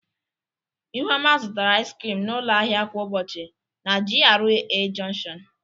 Ihuoma zụtara ịz krịm n'ụlọ ahịa kwa ụbọchị na GRA jọnshịon.